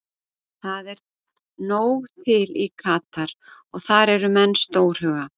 Það er nóg til í Katar og þar eru menn stórhuga.